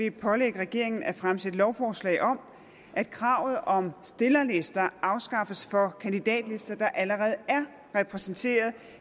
at pålægge regeringen at fremsætte lovforslag om at kravet om stillerlister afskaffes for kandidatlister der allerede er repræsenteret